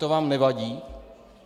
To vám nevadí?